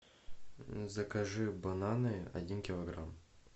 закажи бананы один килограмм